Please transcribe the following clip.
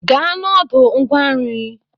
Gaa n'ọdụ ngwa nri!